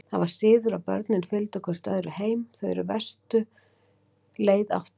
Það var siður að börnin fylgdu hvert öðru heim, þau er verstu leið áttu.